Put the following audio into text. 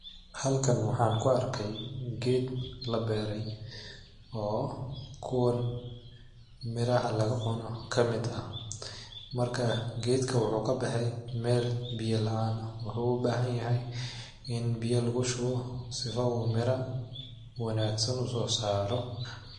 Halkan waxaan ku arkay geed la beeray oo kuwoon miraha laga cuno ka mid ah. Markaa geedka wuxuu ka bahay meel biyaa la'aan ah. Wuxuu baahaniya biya lagu shubo sifa u miro wanaagsan usoo saaro.